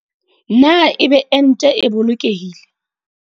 Na ebe ente e boloke hile?